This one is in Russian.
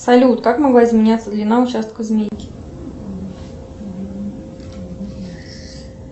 салют как могла изменяться длина участка змейки